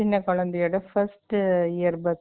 சின்ன குழந்தையோட, first year birthday